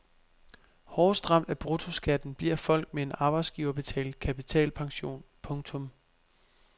Hårdest ramt af bruttoskatten bliver folk med en arbejdsgiverbetalt kapitalpension. punktum